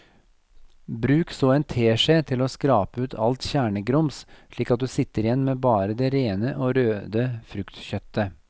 Bruk så en teskje til å skrape ut alt kjernegrums slik at du sitter igjen med bare det rene og røde fruktkjøttet.